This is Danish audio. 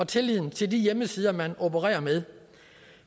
tilliden til de hjemmesider man opererer med